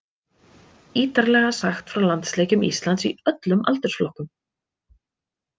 Ítarlega sagt frá landsleikjum Íslands í öllum aldursflokkum.